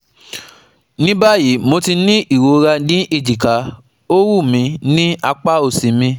Ní báyìí, mo ní ìrora ní ejika, ó wúmi ní apa osi mi